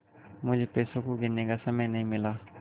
मुझे पैसों को गिनने का समय नहीं मिला